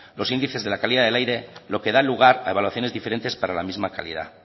los índices de la calidad del aire lo que da lugar a evaluaciones diferentes para la misma calidad